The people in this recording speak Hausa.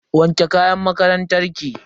Wanke kayan makarantar ki.